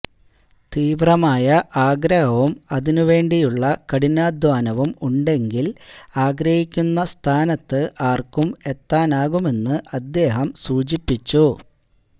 തീവ്രമായ ആഗ്രഹവും അതിനുവേണ്ടിയുള്ള കഠിനാധ്വാനവും ഉണ്ടെങ്കില് ആഗ്രഹിക്കുന്ന സ്ഥാനത്ത് ആര്ക്കും എത്താനാകുമെന്ന് അദ്ദേഹം സൂ ചിപ്പിച്ചു